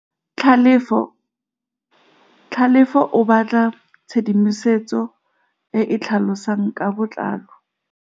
Tlhalefô o batla tshedimosetsô e e tlhalosang ka botlalô.